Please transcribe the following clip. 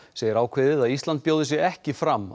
segir ákveðið að Íslandi bjóði sig ekki fram